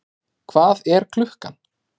Hvað er klukkan?